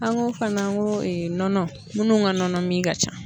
An ko fana n ko nɔnɔ minnu ka nɔnɔmin ka ca.